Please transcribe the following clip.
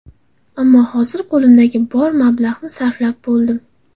Ammo hozir qo‘limdagi bor mablag‘ni sarflab bo‘ldim.